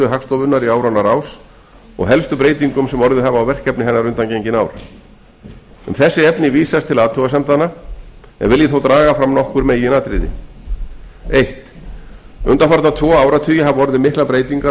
hagstofunnar í áranna rás og helstu breytingum sem orðið hafa á verkefni hennar undangengin ár um þessi efni vísast til athugasemdanna en vil ég þó draga fram nokkur meginatriði fyrstu undanfarna tvo áratugi hafa orðið miklar breytingar á